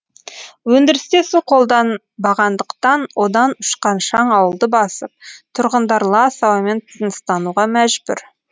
өндірісте су қолданбағандықтан одан ұшқан шаң ауылды басып тұрғындар лас ауамен тыныстауға мәжбүр